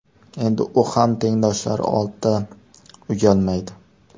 Endi u ham tengdoshlari oldida uyalmaydi.